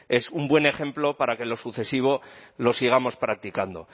es un buen ejemplo para que en lo sucesivo lo sigamos practicando